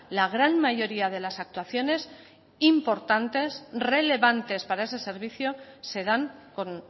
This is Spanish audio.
la gran mayoría de las actuaciones importantes relevantes para ese servicio se dan con